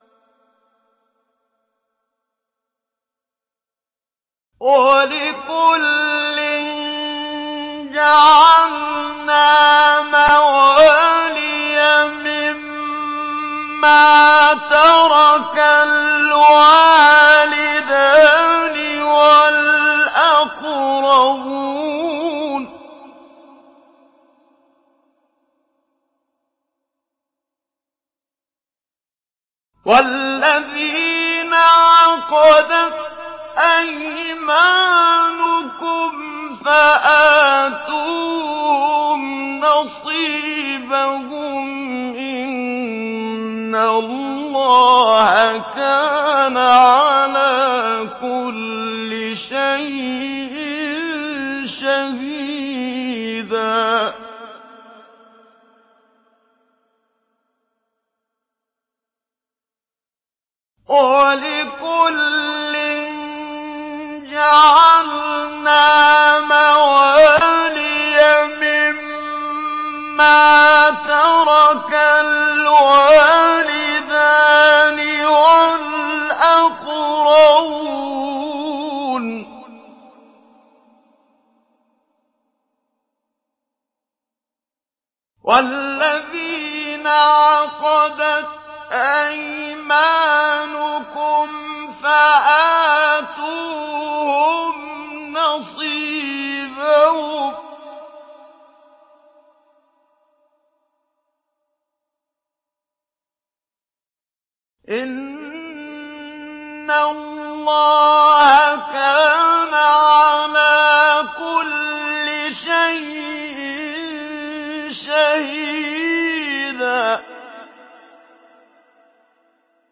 وَلِكُلٍّ جَعَلْنَا مَوَالِيَ مِمَّا تَرَكَ الْوَالِدَانِ وَالْأَقْرَبُونَ ۚ وَالَّذِينَ عَقَدَتْ أَيْمَانُكُمْ فَآتُوهُمْ نَصِيبَهُمْ ۚ إِنَّ اللَّهَ كَانَ عَلَىٰ كُلِّ شَيْءٍ شَهِيدًا